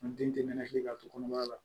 N den tɛ nɛnɛkili ka to kɔnɔbara la